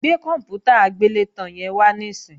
Gbé kòǹpútà agbélétan yẹn wá níìsín!